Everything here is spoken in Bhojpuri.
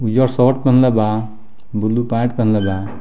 ऊजरा शर्ट पहिनले बा ब्लू पेंट पहिनले बा।